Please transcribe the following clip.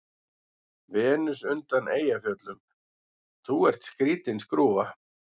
Venus undan Eyjafjöllum:- Þú ert skrýtin skrúfa.